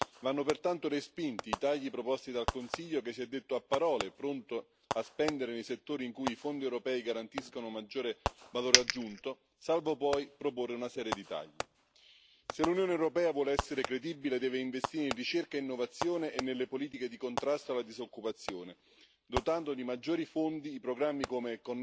Vanno pertanto respinti i tagli proposti dal Consiglio, che si è detto a parole pronto a spendere nei settori in cui i Fondi europei garantiscono maggiore valore aggiunto, salvo poi proporre una serie di tagli. Se l'Unione europea vuole essere credibile deve investire nella ricerca, nell'innovazione e nelle politiche di contrasto alla disoccupazione, dotando di maggiori fondi i programmi come